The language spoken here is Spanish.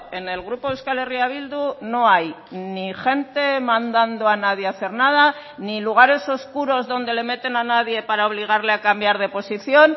en el grupo euskal herria bildu no hay ni gente mandando a nadie hacer nada ni lugares oscuros donde le meten a nadie para obligarle a cambiar de posición